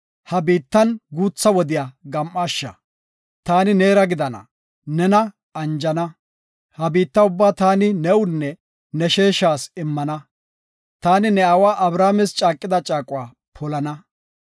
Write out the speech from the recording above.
Ha biittan guutha wodiya gam7aasha, taani neera gidana, nena anjana. Ha biitta ubba taani newunne ne sheeshas immana. Taani ne aawa Abrahaames caaqida caaquwa polana.